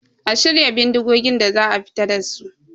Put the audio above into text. A shirya bindigogin da za a fita dasu